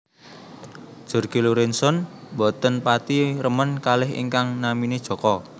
Jorge Lorenzon mboten pati remen kalih ingkang namine Joko